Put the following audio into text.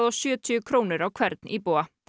og sjötíu krónur á hvern íbúa